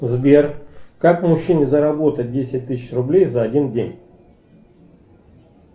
сбер как мужчине заработать десять тысяч рублей за один день